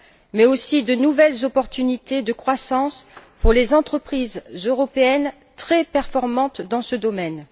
mais aussi de nouvelles opportunités de croissance pour les entreprises européennes très performantes dans ce domaine.